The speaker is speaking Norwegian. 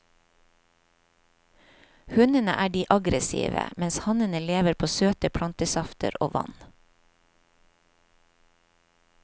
Hunnene er de aggressive, mens hannene lever på søte plantesafter og vann.